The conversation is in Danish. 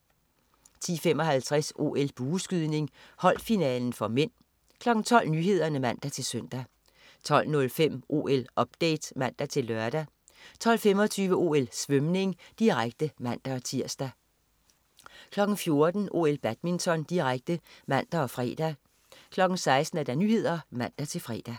10.55 OL: Bueskydning. Holdfinalen (m) 12.00 Nyhederne (man-søn) 12.05 OL-update (man-lør) 12.25 OL: Svømning, direkte (man-tirs) 14.00 OL: Badminton, direkte (man og fre) 16.00 Nyhederne (man-fre)